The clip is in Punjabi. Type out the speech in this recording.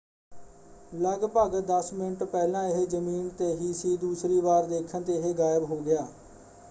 ਲੱਗਭਗ ਦੱਸ ਮਿੰਟ ਪਹਿਲਾਂ ਇਹ ਜ਼ਮੀਨ 'ਤੇ ਹੀ ਸੀ ਦੂਸਰੀ ਵਾਰ ਦੇਖਣ 'ਤੇ ਇਹ ਗਾਇਬ ਹੋ ਗਿਆ।